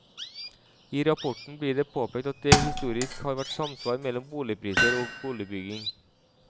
I rapporten blir det påpekt at det historisk har vært samsvar mellom boligpriser og boligbygging.